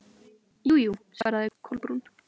Jú, jú- svaraði Kolbrún.